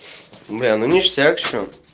бля ну ништяк что